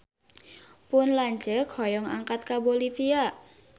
Pun lanceuk hoyong angkat ka Bolivia